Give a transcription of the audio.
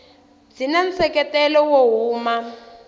byi na nseketelo wo huma